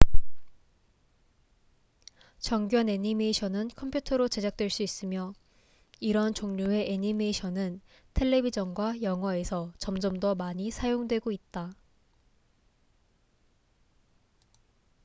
정교한 애니메이션은 컴퓨터로 제작될 수 있으며 이러한 종류의 애니메이션은 텔레비젼과 영화에서 점점 더 많이 사용되고 있다